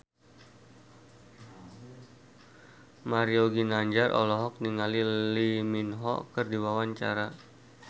Mario Ginanjar olohok ningali Lee Min Ho keur diwawancara